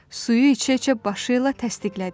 Suyu içə-içə başı ilə təsdiqlədi.